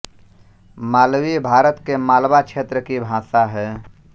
मालवी भारत के मालवा क्षेत्र की भाषा है